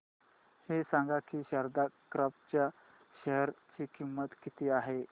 हे सांगा की शारदा क्रॉप च्या शेअर ची किंमत किती आहे